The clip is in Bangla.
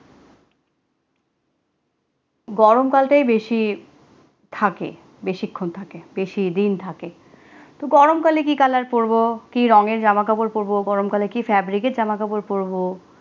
গরমকাল তেই বেশি থাকে বেশিক্ষণ থাকে বেশিদিন থাকে, তো গরমকালে কি কালার করবো কি রঙের জামা কাপড় পড়বো গরমকালে কি fabric এর জামাকাপড় পরবো